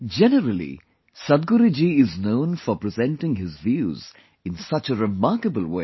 Generally, Sadhguru ji is known for presenting his views in such a remarkable way